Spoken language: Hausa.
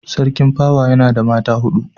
Sarkin pawa yana da mata hudu